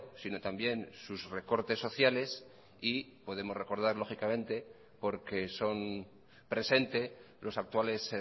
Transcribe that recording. sino también sus recortes sociales y podemos recordar lógicamente porque son presente los actuales